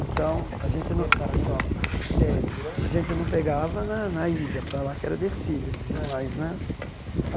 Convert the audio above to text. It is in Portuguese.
Então, a gente Você subia no parachoque É e ficava segurando A gente não pegava na na ida para lá, que era descida, eles iam mais, né?